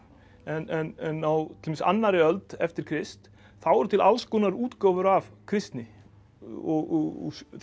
en á til dæmis annarri öld eftir Krist þá eru til alls konar útgáfur af kristni og